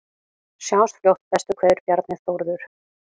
Sjáumst fljótt, bestu kveðjur: Bjarni Þórður